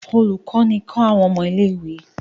Ólukọni kọ àwọn ọmọ ìlé-ìwé.